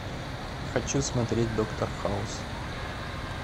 хочу смотреть доктор хаус